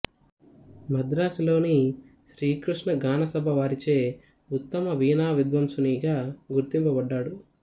మద్రాసులోని శ్రీ కృష్ణ గానసభ వారిచే ఉత్తమ వీణా విద్వాంసుని గా గుర్తింపబడ్డాడు